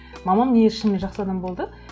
мамам негізі шынымен жақсы адам болды